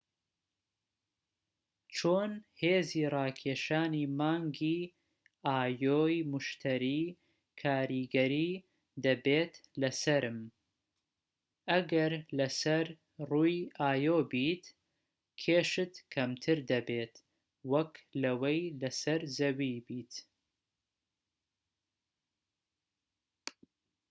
چۆن هێزی ڕاکێشانی مانگی ئایۆ ی موشتەری کاریگەری دەبێت لەسەرم؟ ئەگەر لەسەر ڕووی ئایۆ بیت، کێشت کەمتر دەبێت وەك لەوەی لەسەر زەوی بیت